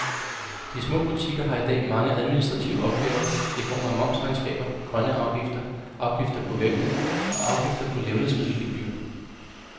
De små butikker har i dag mange administrative opgaver i form af momsregnskaber, grønne afgifter, afgifter på vægte og afgifter på levnedsmiddelgebyrer.